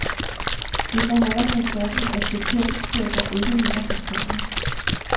Det forholder sig sådan, at bekendtskaber ikke hænger på træerne.